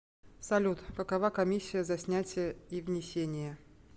салют какова комиссия за снятия и внесения